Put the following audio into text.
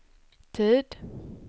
tid